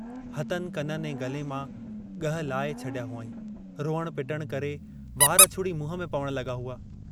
हथनि कननि ऐं गले मां ग्रह लाए छॾिया हुआईं, रुअण पिटण करे वार छुड़ी मुंह में पवण लगा हुआ।